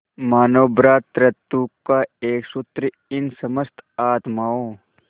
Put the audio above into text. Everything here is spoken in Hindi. मानों भ्रातृत्व का एक सूत्र इन समस्त आत्माओं